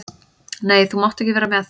Nei, þú mátt ekki vera með.